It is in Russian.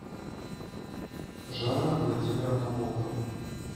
жанна владимировна волкова